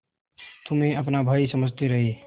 तुम्हें अपना भाई समझते रहे